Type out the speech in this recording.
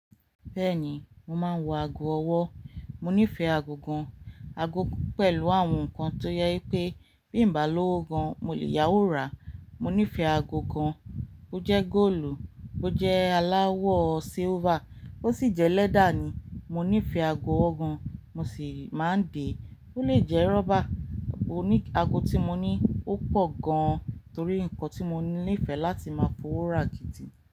Bẹ́ẹ̀ni, mo máa ń wọ ago ọwọ́. Mo nífẹ̀ẹ́ ago gan-an, ago pẹ̀lú àwọn nǹkan tó jẹ pé bí n bá lowo gan-an mo lè yáwó ra. Mo nífẹ̀ẹ́ ago gan, bó jẹ́ góòlù, bó jẹ́ aláwọ̀ silver, bó sì jẹ́ leather ni. Mo nífẹ̀ẹ́ ago ọwọ́ gan, mo sì máa ń dè. Ó lè jẹ́ rọ́bà. Oní ago tí mo ní ó pọ̀ gan torí ǹkan tí mo nífẹ̀ẹ́ láti máa fowó ra gidi.